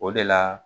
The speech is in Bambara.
O de la